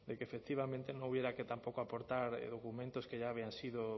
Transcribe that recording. que efectivamente no hubiera que tampoco aportar documentos que ya habían sido